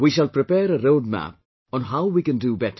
We shall prepare a roadmap on how we can do better